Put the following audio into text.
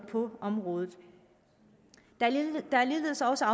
på området der er ligeledes også